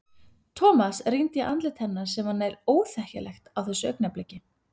Thomas rýndi í andlit hennar sem var nær óþekkjanlegt á þessu augnabliki.